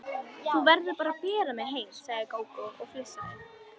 Þú verður að bera mig heim, sagði Gógó og flissaði.